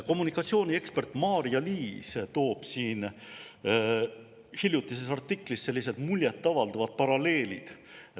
Kommunikatsiooniekspert Maarja-Liis toob hiljutises artiklis sellised muljet avaldavad paralleelid.